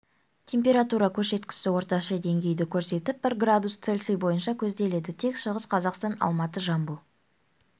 температура көрсеткіші орташа деңгейді көрсетіп бір градус цельсий бойынша көзделеді тек шығыс қазақстан алматы жамбыл